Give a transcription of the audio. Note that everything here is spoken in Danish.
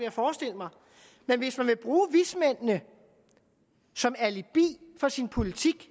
at forestille mig men hvis man vil bruge vismændene som alibi for sin politik